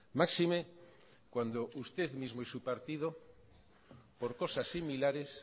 máxime cuando usted mismo y su partido por cosas similares